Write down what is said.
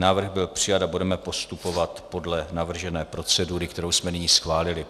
Návrh byl přijat a budeme postupovat podle navržené procedury, kterou jsme nyní schválili.